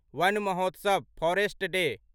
one Mahotsav forest day